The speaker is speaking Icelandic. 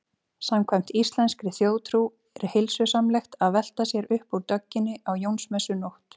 Samkvæmt íslenskri þjóðtrú er heilsusamlegt að velta sér upp úr dögginni á Jónsmessunótt.